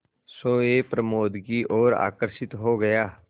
सोए प्रमोद की ओर आकर्षित हो गया